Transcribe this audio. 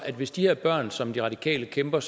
hvis de her børn som de radikale kæmper